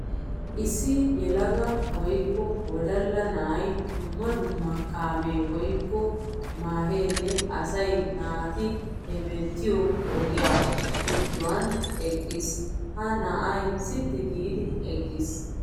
Issi yelaga woykko wodalla na'ay dummq dumma kaame woykko mehenne asaa naati hemettiyo ogiya giduwan eqqiis. Ha na'ay sitti giiddi eqqiis.